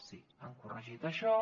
sí han corregit això